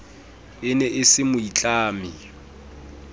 e ne e se moitlami